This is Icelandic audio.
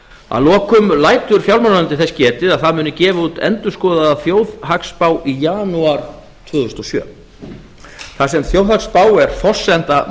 að lokum lætur fjármálaráðuneytið þess getið að það muni gefa út endurskoðaða þjóðhagsspá í janúar tvö þúsund og sjö þar sem þjóðhagsspá er forsenda